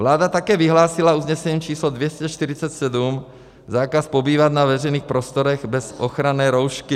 Vláda také vyhlásila usnesením číslo 247 zákaz pobývat na veřejných prostorech bez ochranné roušky.